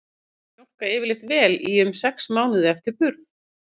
Kýr mjólka yfirleitt vel í um sex mánuði eftir burð.